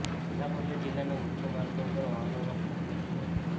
જેના પગલે જિલ્લાના મુખ્ય માર્ગો ઉપર વાહનોનો ખડકલો થયો હતો